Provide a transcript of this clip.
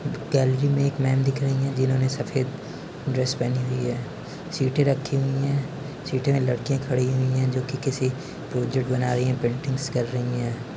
Gallery में एक मेम दिख रही है जिन्होंने सफ़ेद ड्रेस पहनी हुई है सीटें रखी हुई है सीटे में लडकिया खड़ी हुई है जो की किसी प्रोजेक्ट बना रही है पेंटिंगस कर रही है।